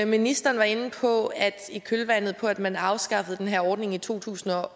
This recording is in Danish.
ministeren var inde på at i kølvandet på at man afskaffede den her ordning i to tusind